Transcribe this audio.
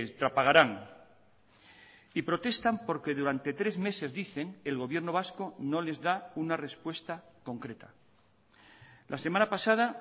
trapagaran y protestan porque durante tres meses dicen el gobierno vasco no les da una respuesta concreta la semana pasada